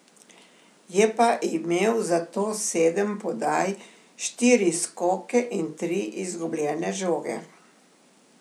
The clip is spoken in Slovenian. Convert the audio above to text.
Je pa imel zato sedem podaj, štiri skoke in tri izgubljene žoge.